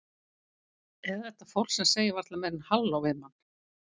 Eða þetta fólk sem segir varla meira en halló við mann.